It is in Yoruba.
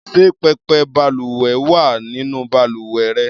Ṣé pẹpẹ balùwẹ̀ wà nínú balùwẹ̀ rẹ?